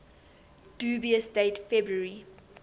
dubious date february